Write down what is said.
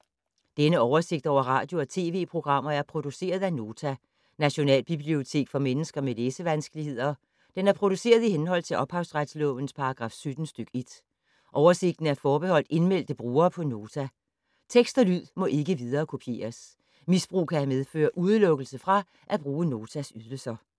Denne oversigt over radio og TV-programmer er produceret af Nota, Nationalbibliotek for mennesker med læsevanskeligheder. Den er produceret i henhold til ophavsretslovens paragraf 17 stk. 1. Oversigten er forbeholdt indmeldte brugere på Nota. Tekst og lyd må ikke viderekopieres. Misbrug kan medføre udelukkelse fra at bruge Notas ydelser.